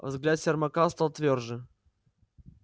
взгляд сермака стал твёрже